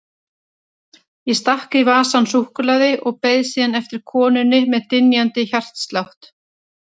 Ég stakk í vasann súkkulaði og beið síðan eftir konunni með dynjandi hjartslátt.